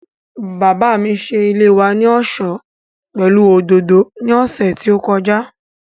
Bàbá mi ṣe ilé wa ní ọ̀ṣọ́ pẹ̀lú òdòdó ní ọ̀sẹ̀ tí ó kọjá